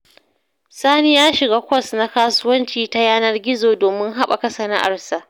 Sani ya shiga kwas na kasuwanci ta yanar gizo domin haɓaka sana’arsa.